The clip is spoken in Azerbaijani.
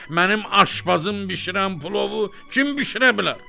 Mənim aşpazım bişirən plovu kim bişirə bilər?